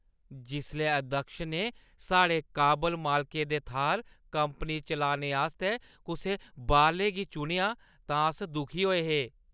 जिसलै अध्यक्ष ने साढ़े काबल मालकै दे थाह्‌र कंपनी चलाने आस्तै कुसै बाह्‌रले गी चुनेआ तां अस दुखी होए हे।